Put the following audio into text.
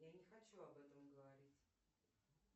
я не хочу об этом говорить